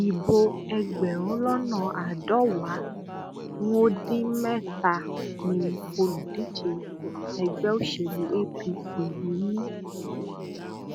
ibo ẹgbẹrún lọnà àádọwàá n ó dín mẹtàánì olùdíje ẹgbẹ òṣèlú apc yìí ni